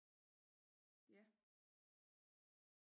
Ja